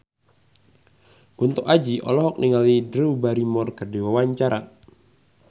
Kunto Aji olohok ningali Drew Barrymore keur diwawancara